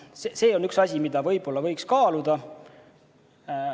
See on üks asi, mida võib-olla võiks kaaluda.